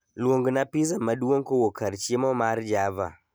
Luongna pizza maduong kowuok kar chiemo mar java